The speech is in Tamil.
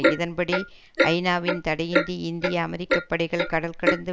இதன் படி ஐநாவின் தடையின்றி இந்திய அமெரிக்க படைகள் கடல் கடந்து